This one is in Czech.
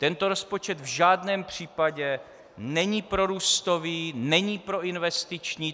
Tento rozpočet v žádném případě není prorůstový, není proinvestiční.